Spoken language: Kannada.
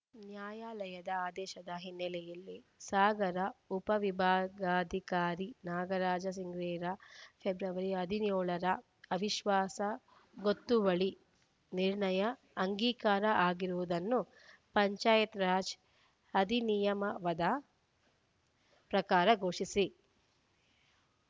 ನ್ಯಾಯಾಲಯದ ಆದೇಶದ ಹಿನ್ನೆಲೆಯಲ್ಲಿ ಸಾಗರ ಉಪವಿಭಾಗಾಧಿಕಾರಿ ನಾಗರಾಜ ಸಿಂಗ್ರೇರ ಫೆಬ್ರವರಿ ಹದಿನ್ಯೋಳರ ಅವಿಶ್ವಾಸ ಗೊತ್ತುವಳಿ ನಿರ್ಣಯ ಅಂಗೀಕಾರ ಆಗಿರುವುದನ್ನು ಪಂಚಾಯತ್‌ರಾಜ್‌ ಅಧಿನಿಯಮದ ಪ್ರಕಾರ ಘೋಷಿಸಿ